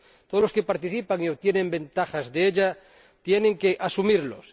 Todos los que participan y obtienen ventajas de ella tienen que asumirlos.